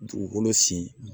Dugukolo sin